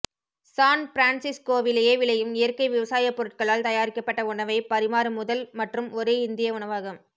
San பிரான்சிஸ்கோவிலேயே விளையும் இயற்கை விவசாயப் பொருட்களால் தயாரிக்கப்பட்ட உணவைப் பரிமாறும் முதல் மற்றும் ஒரே இந்திய உணவகம்